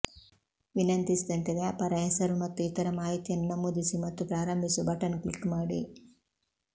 ವಿನಂತಿಸಿದಂತೆ ವ್ಯಾಪಾರ ಹೆಸರು ಮತ್ತು ಇತರ ಮಾಹಿತಿಯನ್ನು ನಮೂದಿಸಿ ಮತ್ತು ಪ್ರಾರಂಭಿಸು ಬಟನ್ ಕ್ಲಿಕ್ ಮಾಡಿ